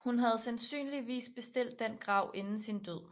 Hun havde sandsynligvis bestilt den grav inden sin død